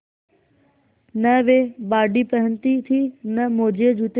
न वे बॉडी पहनती थी न मोजेजूते